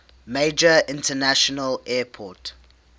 major international airport